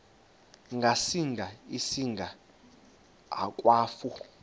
ngasinga singa akwafu